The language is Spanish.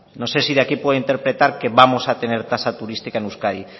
no sé si de aquí se puede interpretar que vamos a tener tasa turística en euskadi